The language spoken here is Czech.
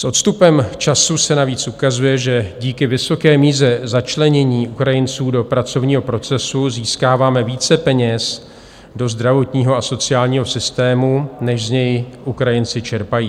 S odstupem času se navíc ukazuje, že díky vysoké míře začlenění Ukrajinců do pracovního procesu získáváme více peněz do zdravotního a sociálního systému, než z něj Ukrajinci čerpají.